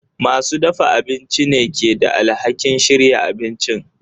Masu dafa abinci ne ke da alhakin shirya abincin.